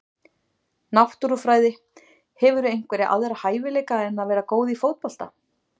Náttúrufræði Hefurðu einhverja aðra hæfileika en að vera góð í fótbolta?